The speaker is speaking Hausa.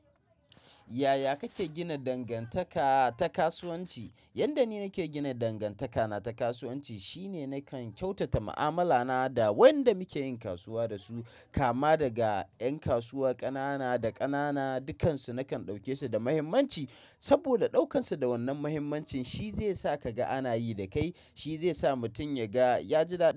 Yaya kake gina dangantaka ta kasuwanci? Yanda ni nake gina dangantaka na ta kasuwanci shine nakan kyautata ma'amala na da wayanda muke yin kasuwa dasu kama daga ƴan kasuwa ƙanana da ƙanana, dukansu nakan ɗauke su da muhimmanci. Saboda ɗaukansu da wannan muhimmancin shi zai sa ka ga ana yi da kai, shi zai sa mutum ya ga ya ji daɗi.